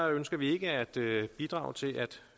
ønsker vi ikke at bidrage til at